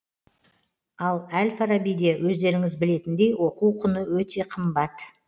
ал әл фарабиде өздеріңіз білетіндей оқу құны өте қымбат